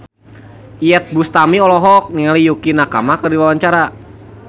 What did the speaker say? Iyeth Bustami olohok ningali Yukie Nakama keur diwawancara